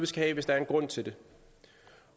skal have hvis der er en grund til det